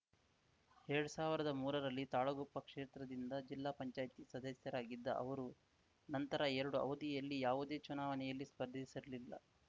ಎರಡ್ ಸಾವಿರ್ದಾ ಮೂರರಲ್ಲಿ ತಾಳಗುಪ್ಪ ಕ್ಷೇತ್ರದಿಂದ ಜಿಲ್ಲಾ ಪಂಚಾಯ್ತಿ ಸದಸ್ಯರಾಗಿದ್ದ ಅವರು ನಂತರ ಎರಡು ಅವಧಿಯಲ್ಲಿ ಯಾವುದೇ ಚುನಾವಣೆಯಲ್ಲಿ ಸ್ಪರ್ಧಿಸಿರಲಿಲ್ಲ